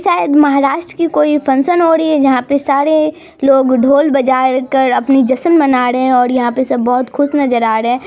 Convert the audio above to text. शायद महाराष्ट की कोई फंक्शन हो रही है जहा पे सारे लोग ढोल बजा कर अपनी जशन मना रहे है और यहा सब बहुत खुश नजर आ रहे है।